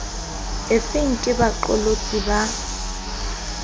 efeng ke ha baqolotsi ba